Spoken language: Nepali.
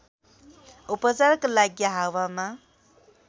उपचारका लागि हावामा